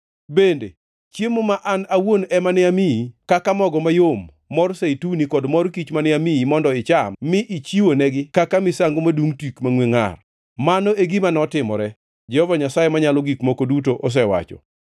Bende, chiemo ma An awuon ema ne amiyi kaka mogo mayom, mor zeituni kod mor kich mane amiyi mondo icham mi ichiwonegi kaka misango madungʼ tik mangʼwe ngʼar. Mano e gima notimore, Jehova Nyasaye Manyalo Gik Moko Duto osewacho.